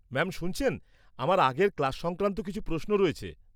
-Ma'am শুনছেন, আমার আগের ক্লাস সংক্রান্ত কিছু প্রশ্ন রয়েছে।